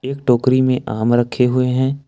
एक टोकरी में आम रखे हुए हैं।